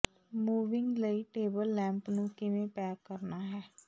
moving ਲਈ table lamp ਨੂੰ ਕਿਵੇਂ ਪੈਕ ਕਰਨਾ ਹੈ